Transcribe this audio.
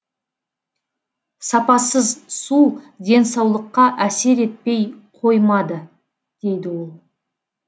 сапасыз су денсаулыққа әсер етпей қоймады дейді ол